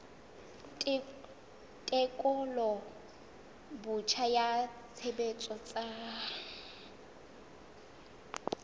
tekolo botjha ya tshebetso tsa